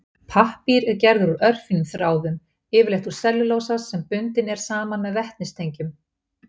Pappír er gerður úr örfínum þráðum, yfirleitt úr sellulósa sem bundinn er saman með vetnistengjum.